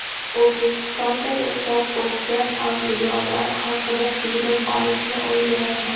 O‘zbekistonda yashab o‘tgan avliyolar haqida film olishni o‘ylayapman.